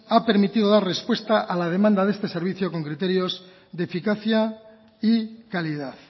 ha permitido a dar respuesta a la demanda de este servicio con criterios de eficacia y calidad